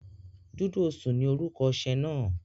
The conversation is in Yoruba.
Dúdú osùn ni orúkọ oṣẹ́ náà.